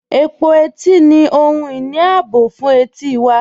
Ẹ̀pọ̀ ètì ni ohun-iní ààbọ̀ fún ètí wà.